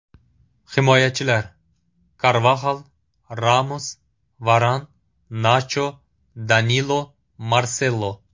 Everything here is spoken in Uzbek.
Himoyachilar: Karvaxal, Ramos, Varan, Nacho, Danilo, Marselo.